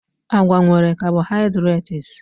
Agwa nwere carbohydrates